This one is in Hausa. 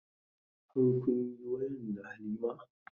Har kun yi wayan da Halima?